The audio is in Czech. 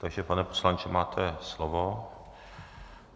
Takže pane poslanče, máte slovo.